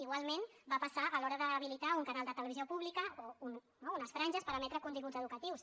igualment va passar a l’hora d’habilitar un canal de televisió pública o no unes franges per emetre continguts educatius